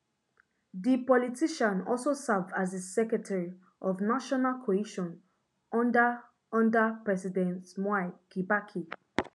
di politician also serve as di secretary of national cohesion under under president mwai kibaki